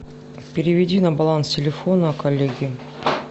переведи на баланс телефона коллеге